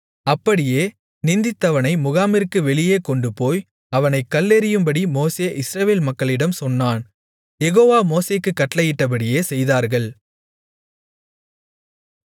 அப்படியே நிந்தித்தவனை முகாமிற்கு வெளியே கொண்டுபோய் அவனைக் கல்லெறியும்படி மோசே இஸ்ரவேல் மக்களிடம் சொன்னான் யெகோவா மோசேக்குக் கட்டளையிட்டபடியே செய்தார்கள்